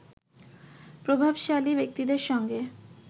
প্রভাবশালী ব্যক্তিদের সঙ্গে